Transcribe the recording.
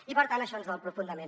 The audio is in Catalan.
i per tant això ens dol profundament